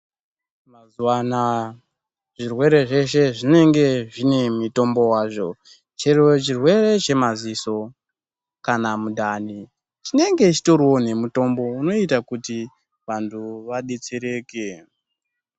Zvirwere zveshe zvinenge zvine mutombo wazvo chero chirwere chemadziso kana mundani chinenge chitoriwo nemutombo unoita kuti vantu vadetsereke.